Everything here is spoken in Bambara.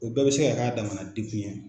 O bɛɛ bɛ se k'a damana degun ye.